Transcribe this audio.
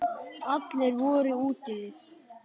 Allir voru úti við.